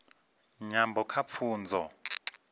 nyambo kha pfunzo